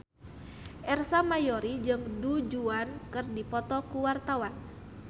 Ersa Mayori jeung Du Juan keur dipoto ku wartawan